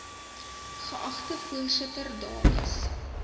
geagte voorsitter dames